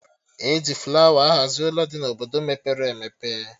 E ji flawa ahazi Ụlọ dị na Obodo mepere emepe